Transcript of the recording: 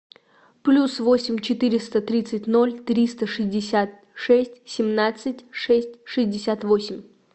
плюс восемь четыреста тридцать ноль триста шестьдесят шесть семнадцать шесть шестьдесят восемь